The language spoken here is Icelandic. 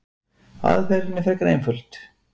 Aðferðin er frekar einföld.